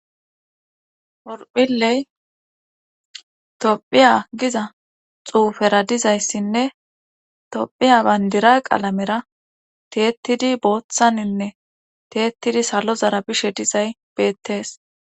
orphiley tophiya giza xuufera dizayssinne tophiya bayndira qalamera teettidi booththaninne teettidi salo zara bishe dizay beettees